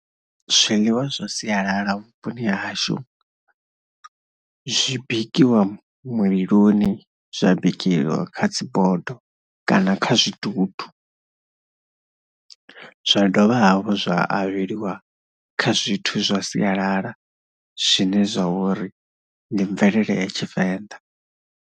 Zwiḽiwa zwa sialala vhuponi hashu zwi bikiwa muliloni, zwa bikiwa kha dzi bodo kana kha zwidudu. Zwa dovha hafhu zwa avheliwa kha zwithu zwa sialala zwine zwa vha uri ndi mvelele ya Tshivenḓa.